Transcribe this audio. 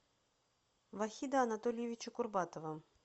вахида анатольевича курбатова